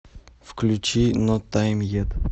включи нот тайм ет